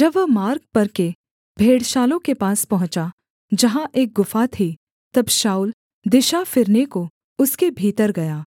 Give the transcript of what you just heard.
जब वह मार्ग पर के भेड़शालाओं के पास पहुँचा जहाँ एक गुफा थी तब शाऊल दिशा फिरने को उसके भीतर गया